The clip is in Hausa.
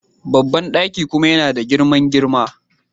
Babban daki kuma yana da girman girma..